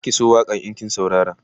Zaki so waƙan in kin saurara